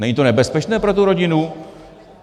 Není to nebezpečné pro tu rodinu?